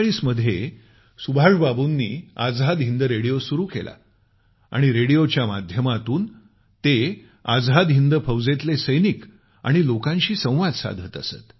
1942 मध्ये सुभाष बाबूंनी आझाद हिंद रेडिओ सुरु केला आणि रेडिओच्या माध्यमातून आझाद हिंद फौजेतले सैनिक आणि लोकांशी संवाद साधत असत